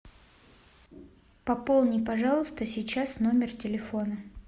пополни пожалуйста сейчас номер телефона